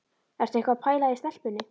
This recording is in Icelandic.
Ertu eitthvað að pæla í stelpunni?